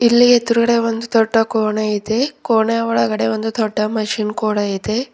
ಇಲ್ಲಿ ಎದುರುಗಡೆ ಒಂದು ದೊಡ್ಡ ಕೋಣೆ ಇದೆ ಕೋಣೆ ಒಳಗಡೆ ಒಂದು ದೊಡ್ಡ ಮಷಿನ್ ಕೂಡ ಇದೆ.